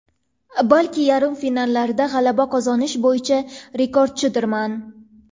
Balki, yarim finallarda g‘alaba qozonish bo‘yicha rekordchidirman.